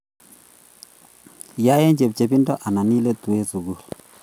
Yai eng chepchepindo anan iletuu eng sukul